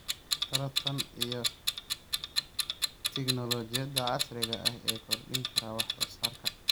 taranta iyo tignoolajiyada casriga ah ee kordhin kara wax soo saarka.